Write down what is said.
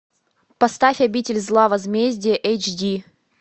поставь обитель зла возмездие эйч ди